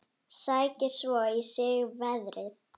Sækir svo í sig veðrið.